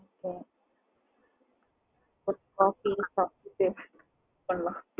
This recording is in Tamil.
coffee சாப்ட்டுட்டு